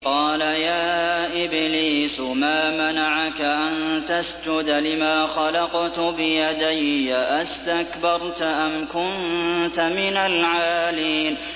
قَالَ يَا إِبْلِيسُ مَا مَنَعَكَ أَن تَسْجُدَ لِمَا خَلَقْتُ بِيَدَيَّ ۖ أَسْتَكْبَرْتَ أَمْ كُنتَ مِنَ الْعَالِينَ